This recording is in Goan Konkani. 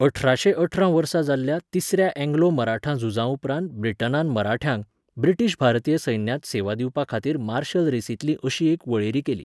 अठराशें अठरा वर्सा जाल्ल्या तिसऱ्या अँग्लो मराठा झुजा उपरांत ब्रिटनान मराठ्यांक, ब्रिटीश भारतीय सैन्यांत सेवा दिवपाखातीर मार्शल रेसींतली अशी एक वळेरी केली.